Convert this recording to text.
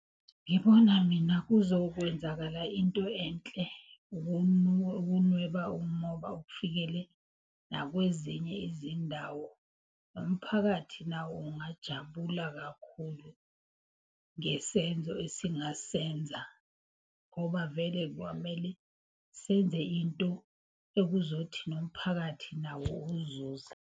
Ngibona mina kuzokwenzakala into enhle, ukunweba umoba nakwezinye izindawo. Nomphakathi nawo ungajabula kakhulu ngesenzo esingasenza ngoba vele kwamele senze into okuzothi nomphakathi nawo uzuza.